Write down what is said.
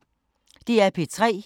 DR P3